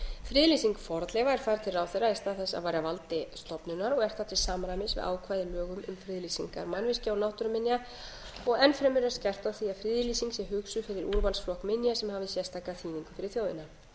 er færð til ráðherra í stað þess að vera á valdi stofnunar og er það til samræmis við ákvæði í lögum um friðlýsingar mannvirkja og náttúruminja enn fremur er skerpt á því að friðlýsing sé hugsuð fyrir úrvalsflokk minja sem hafi sérstaka þýðingu fyrir þjóðina áttunda